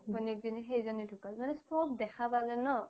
ভোনিয়েক জনি সেইজ্নি ধুকাল মানে চ্'ব দেখা পালে ন